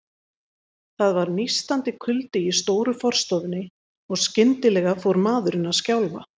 Það var nístandi kuldi í stóru forstofunni, og skyndilega fór maðurinn að skjálfa.